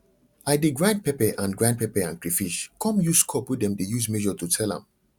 i dey grind pepper and grind pepper and crayfish come use cup wey dem dey use measure to sell am